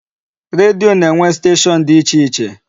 Redio na-enwe station dị iche iche.